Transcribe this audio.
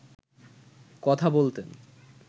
কথা বলতেন